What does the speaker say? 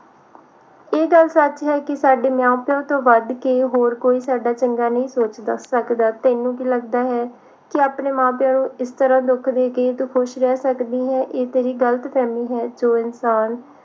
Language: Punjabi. ਇਹ ਗੱਲ ਸੱਚ ਹੈ ਕਿ ਸਾਡੇ ਮਾਂ ਪਿਉ ਤੋਂ ਵੱਧ ਕੇ ਕੋਈ ਸਾਡਾ ਚੰਗਾ ਨਹੀਂ ਸੋਚ ਸਕਦਾ ਤੈਨੂੰ ਕੀ ਲੱਗਦਾ ਹੈ ਕਿ ਆਪਣੇ ਮਾਂ ਪਿਉ ਨੂੰ ਇਸ ਤਰ੍ਹਾਂ ਦੁੱਖ ਦੇ ਕੇ ਤੂੰ ਖੁਸ਼ ਰਹਿ ਸਕਦੀ ਹੈ ਇਹ ਤੇਰੀ ਗਲਤ ਫਹਿਮੀ ਹੈ ਜੋ ਇਨਸਾਨ